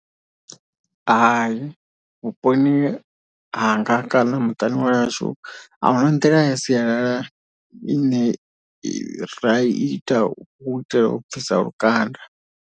Hai vhuponi hanga kana muṱani wahashu ahuna nḓila ya sialala ine ra ita u itela u bvisa lukanda.